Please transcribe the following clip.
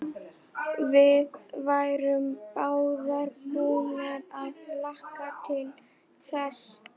Við værum báðar búnar að hlakka til þess.